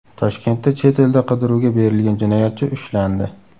Toshkentda chet elda qidiruvga berilgan jinoyatchi ushlandi.